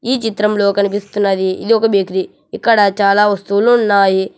ఈ చిత్రంలో కనిపిస్తున్నది ఇదొక బేకరీ ఇక్కడ చాలా వస్తువులున్నాయి.